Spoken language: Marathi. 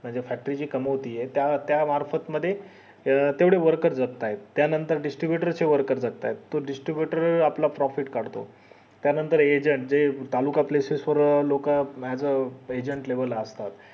म्हणजे factory जी कामवाली ये त्या त्या मार्फत मध्ये अं तेवढे workers जागत्यात त्या नंतर distributor चे workers जागत्यात तो distributor आपला profit काढतोय त्या नंतर agent ते तालुका places वर लोक as agent level असतात